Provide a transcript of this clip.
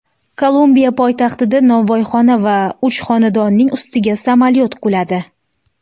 Kolumbiya poytaxtida novvoyxona va uch xonadonning ustiga samolyot quladi.